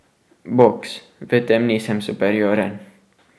Boks, v tem nisem superioren.